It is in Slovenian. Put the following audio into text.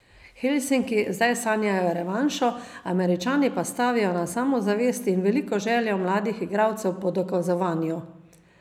Helsinki zdaj sanjajo revanšo, Američani pa stavijo na samozavest in veliko željo mladih igralcev po dokazovanju.